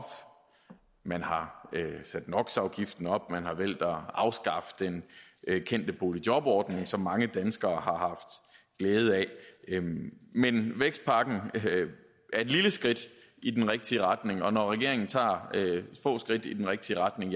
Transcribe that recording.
man har sat nox afgiften op og man har valgt at afskaffe den kendte boligjobordning som mange danskere har haft glæde af men vækstpakken er et lille skridt i den rigtige retning og når regeringen tager få skridt i den rigtige retning